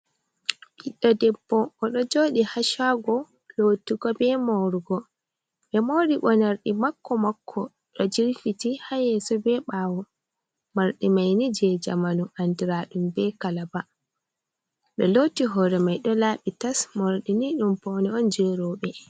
Ɓiddo debbo, o ɗo joodi ha cago lotigo be moorugo be mori mo mordi makko-makko do jirfiti ha yeso be ɓawo morɗi mai ni je jamanu andiradum be kalaba ɗo loti hore mai do laabi tas. Morɗini ɗum paune oun je robe.